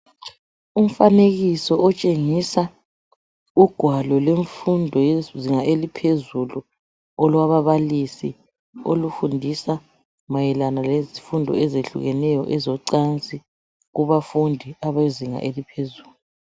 Umfanekiso otshengisa ugwalo lwemfundo yezinga eliphezulu olwababalisi olufundisa mayelana lezifundo ezehlukeneyo ezocansi kubafundi abezinga eliphezulu